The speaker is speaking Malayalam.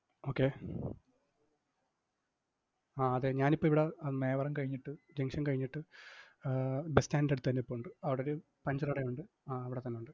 okay അ~ അതെ ഞാൻ ഇപ്പം ഇവിട മേവറം കഴിഞ്ഞിട്ട് junction കഴിഞ്ഞിട്ട് അഹ് bus stand ന്റടുത്തായി നിപ്പുണ്ട്. അവിടെ ഒരു puncture കടയുണ്ട്. ആ അവിടത്തന്നൊണ്ട്.